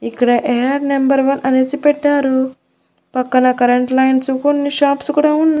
ఇక్కడ air number one అనేసి పెట్టారు పక్కన కరెంట్ లైన్స్ కొన్ని షాప్స్ కూడా ఉన్న--